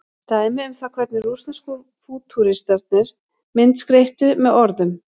dæmi um það hvernig rússnesku fútúristarnir myndskreyttu með orðum